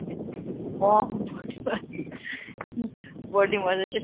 ଅଂ body massage